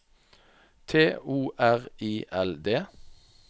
T O R I L D